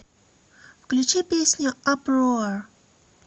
включи песню апроар